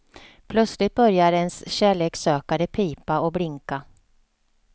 Plötsligt börjar ens kärlekssökare pipa och blinka.